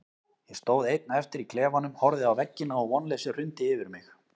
Ég stóð einn eftir í klefanum, horfði á veggina og vonleysið hrundi yfir mig.